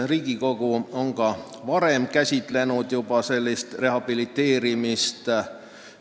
Riigikogu on ka varem seda laadi rehabiliteerimist käsitlenud.